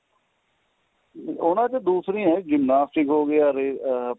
ਉਹਨਾ ਚ ਦੂਸਰੀਆਂ ਏ ਗੇਮਾ gymnastic ਹੋ ਗਿਆ ਰੇ ਆ